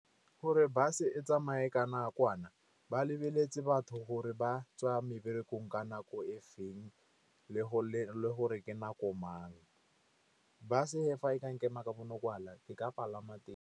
Gore bus-e tsamaye ka nakwana, ba lebeletse batho gore ba tswa meberekong ka nako e feng le gore ke nako mang. Bus-e fa e ka nkema ka ke ka palama.